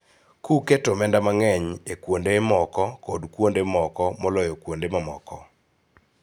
Kuketo omenda mang�eny e kuonde moko kod kuonde moko moloyo kuonde mamoko.